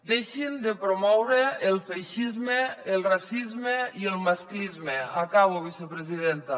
deixin de promoure el feixisme el racisme i el masclisme acabo vicepresidenta